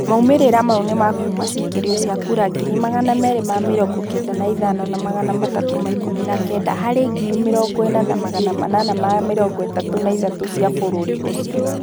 Maumĩrĩra maũ nĩmakuma cĩkĩrio cĩa kũra 295319 harĩ 40883 cĩa bũrũri ucĩo